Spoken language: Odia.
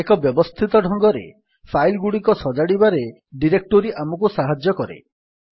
ଏକ ବ୍ୟବସ୍ଥିତ ଢଙ୍ଗରେ ଫାଇଲ୍ ଗୁଡିକ ସଜାଡିବାରେ ଡିରେକ୍ଟୋରୀ ଆମକୁ ସାହାଯ୍ୟ କରେ